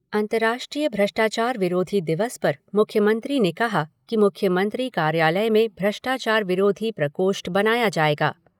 अंर्तराष्ट्रीय भ्रष्टाचार विरोधी दिवस पर मुख्यमंत्री ने कहा कि कार्यालय में भ्रष्टाचार विरोधी प्रकोष्ठ बनाया जायेगा।